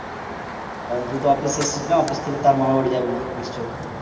কারণ তুই তো অফিস এসছিস না অফিস থেকে তো আর মামা বাড়ি যাবি না নিশ্চয়ই